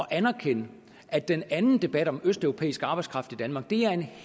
anerkende at den anden debat om østeuropæisk arbejdskraft i danmark er en